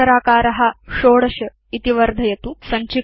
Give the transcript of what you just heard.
अक्षराकार 16 इति वर्धयतु